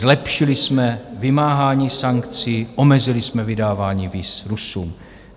Zlepšili jsme vymáhání sankcí, omezili jsme vydávání víz Rusům.